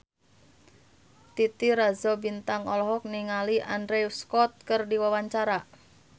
Titi Rajo Bintang olohok ningali Andrew Scott keur diwawancara